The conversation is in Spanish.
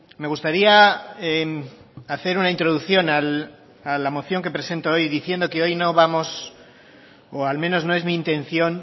me gustaría hacer una introducción a la moción que presento hoy diciendo que hoy no vamos o al menos no es mi intención